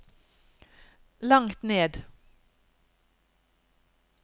langt ned